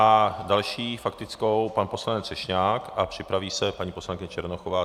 A další faktickou, pan poslanec Třešňák, a připraví se paní poslankyně Černochová.